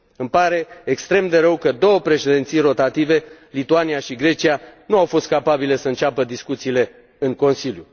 Îmi pare extrem de rău ca două președinții rotative, Lituania și Grecia, nu au fost capabile să înceapă discuțiile în Consiliu.